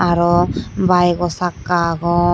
aroh bike oh sakka agon.